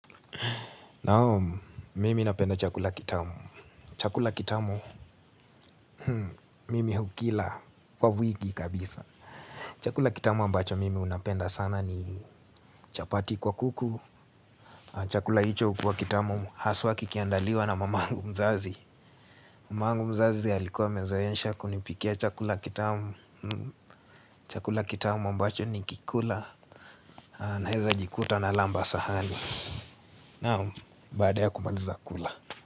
Naam, mimi napenda chakula kitamu. Chakula kitamu mimi hukila kwa wiki kabisa. Chakula kitamu ambacho mimi napenda sana ni chapati kwa kuku. Chakula hicho hukuwa kitamu haswa kikiandaliwa na mamangu mzazi. Mamangu mzazi alikuwa amezoesha kunipikia chakula kitamu. Chakula kitamu ambacho nikikula naweza jikuta nalamba sahani. Naam, baada ya kumaliza kula.